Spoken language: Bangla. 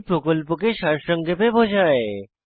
এটি প্রকল্পকে সারসংক্ষেপে বোঝায়